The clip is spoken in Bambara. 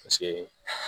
Paseke